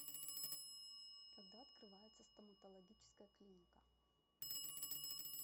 когда открывается стоматологическая клиника